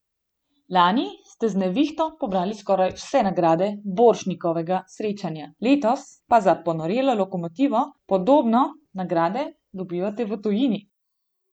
Lani ste z Nevihto pobrali skoraj vse nagrade Borštnikovega srečanja, letos za Ponorelo lokomotivo podobno, nagrade dobivate v tujini.